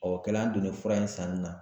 Ɔ o kɛla an donnen fura in sanni na